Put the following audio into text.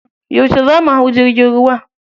Yauce za mu hau jirgin ruwa?